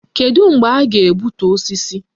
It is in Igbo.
Kedụ mgbe a ga-egbutu osisi?